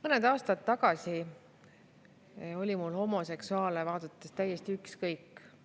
Mõned aastad tagasi olid homoseksuaalid mulle täiesti ükskõik.